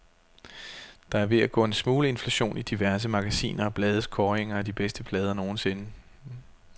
Der er ved at gå en smule inflation i diverse magasiner og blades kåringer af de bedste plader nogensinde.